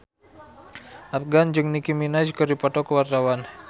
Afgan jeung Nicky Minaj keur dipoto ku wartawan